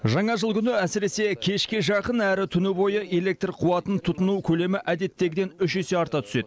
жаңа жыл күні әсіресе кешке жақын әрі түні бойы электр қуатын тұтыну көлемі әдеттегіден үш есе арта түседі